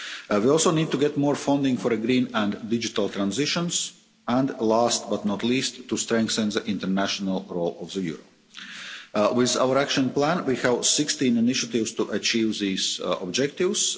We also need to get more funding for the green and digital transitions and, last but not least, to strengthen the international role of the euro. With our action plan, we have 16 initiatives to achieve these objectives.